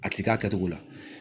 A ti k'a kɛcogo la